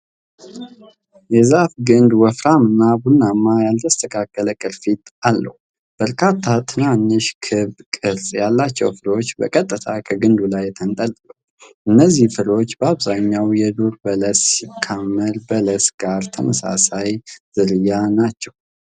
የዛፉ ግንድ ወፍራም እና ቡናማ፣ ያልተስተካከለ ቅርፊት አለው። በርካታ ትናንሽ፣ ክብ ቅርጽ ያላቸው ፍሬዎች በቀጥታ ከግንዱ ላይ ተንጠልጥለዋል። እነዚህ ፍሬዎች በአብዛኛው የዱር በለስ ሲካሞር በለስ ጋር ተመሳሳይ ዝርያ ናቸው፡፡